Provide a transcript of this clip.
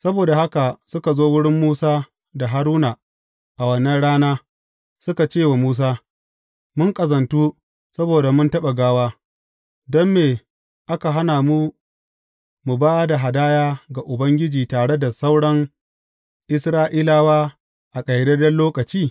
Saboda haka suka zo wurin Musa da Haruna a wannan rana suka ce wa Musa, Mun ƙazantu saboda mun taɓa gawa, don me aka hana mu mu ba da hadaya ga Ubangiji tare da sauran Isra’ilawa a ƙayyadadden lokaci?